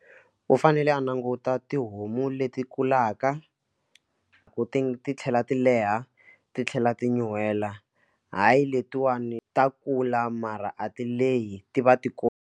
U fanele a languta tihomu leti kulaka ku ti titlhela ti leha titlhela ti nyuhela hayi letiwani ta kula mara a ti leyi ti va ti koma.